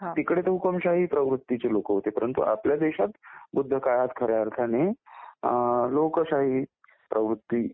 तिकडे तर हुकूमशाही प्रवृत्तीचे लोक होते परंतु आपल्या देशात बुद्ध काळात खऱ्या अर्थाने लोकशाही प्रवृत्ती